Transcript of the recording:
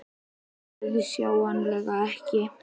Nei, auðsjáanlega ekki.